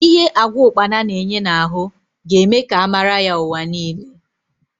Because of the nutritional value of locust beans it may gain global recognition